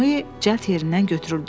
Noye cəld yerindən götürüldü.